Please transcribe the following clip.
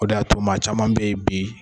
O de y'a to maa caman beyi bi.